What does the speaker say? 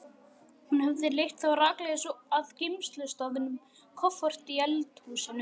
Hún hefði leitt þá rakleiðis að geymslustaðnum, kofforti í eldhúsinu.